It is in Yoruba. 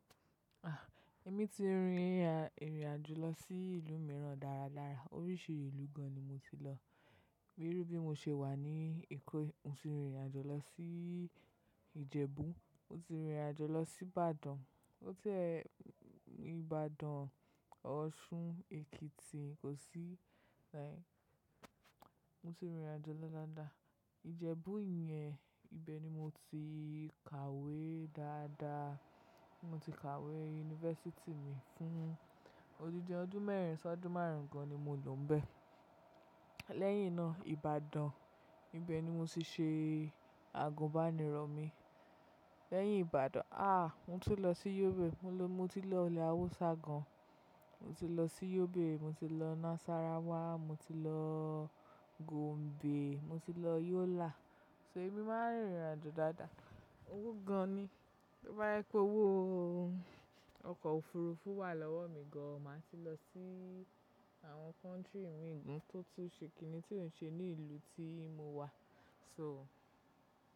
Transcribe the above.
Ah, èmi ti rìnrìn àjò lọ sí ìlú mìíràn dáradára. Oríṣi ìlú gan ni mo ti lọ. Bírú bí mo ṣe wà ní Èkó, mo ti rìnrìn àjò lọ sí Ìjẹ̀bú, mo ti rìnrìn àjò lọ sí Ìbàdàn, mo ti ẹ́ Ìbàdàn, Ọ̀ṣun, Èkìtì, kò sí. Mo ti rìnrìn àjò dáadáa. Ìjẹ̀bú yẹn ibẹ̀ ni mo ti kàwé dáadáa. Mo ti kàwé yunifásítì mi fún odidi ọdún mẹ́rin sọ́dún márùn-ún gan ni mo lọ bẹ́. Lẹ́yìn náà Ìbàdàn, ibẹ̀ ni mo ti ṣe àgùnbánirọ̀ mi. Lẹ́yìn Ìbàdàn, àh mo ti lọ sí Yobe. Mo ti lọ ilẹ̀ Haúsá gan. Mo ti lọ sí Yobe, mo ti lọ Nasarawa, mo ti lọ Gombe, mo ti lọ Yola. So èmi máa ń rìnrìn àjò dáadáa. Owó gan ni. Bí ó bá yẹ pé owó ọkọ̀ òfurufú wà lọ́wọ́ mi gan, màá ti lọ sí àwọn country mìíràn tó tún ṣe kìíní tí ò ń ṣe ní ìlú tí mo wà. So.